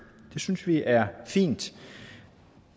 det synes vi er fint